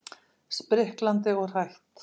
Spriklandi og hrætt.